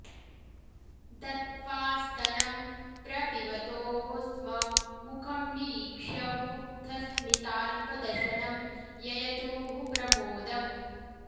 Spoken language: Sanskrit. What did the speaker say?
दत्त्वा स्तनं प्रपिबतोः स्म मुखं निरीक्ष्य मुग्धस्मिताल्पदशनं ययतुः प्रमोदम्